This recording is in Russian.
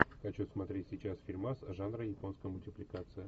хочу смотреть сейчас фильмас жанра японская мультипликация